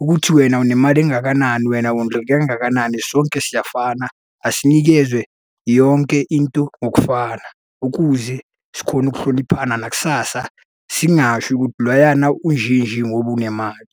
ukuthi wena unemali engakanani wena wondleke kangakanani sonke siyafana. Asinikezwe yonke into ngokufana ukuze sikhone ukuhloniphana nakusasa singasho ukuthi loyana unje nje ngoba unemali.